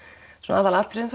aðalatriðum